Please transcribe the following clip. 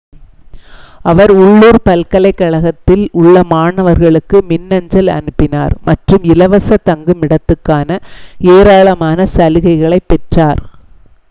அவர் உள்ளூர் பல்கலைக்கழகத்தில் உள்ள மாணவர்களுக்கு மின்னஞ்சல் அனுப்பினார் மற்றும் இலவச தங்குமிடத்துக்கான ஏராளமான சலுகைகளைப் பெற்றார்